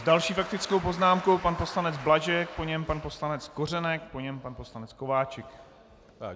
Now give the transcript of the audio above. S další faktickou poznámkou pan poslanec Blažek, po něm pan poslanec Kořenek, po něm pan poslanec Kováčik.